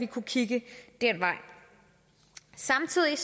kunne kigge den vej samtidig